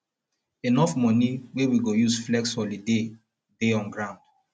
enough money wey we go use flex holiday dey on ground